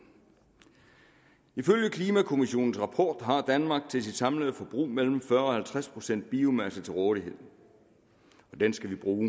ifølge klimakommissionens rapport har danmark til sit samlede forbrug mellem fyrre og halvtreds procent biomasse til rådighed og den skal vi bruge